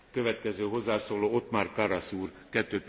Herr Präsident, meine Damen und Herren!